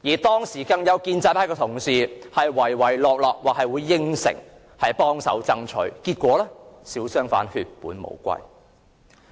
當時有建制派同事唯唯諾諾答應幫忙爭取，結果小商販血本無歸。